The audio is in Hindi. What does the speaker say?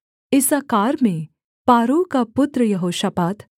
इस्साकार में पारुह का पुत्र यहोशापात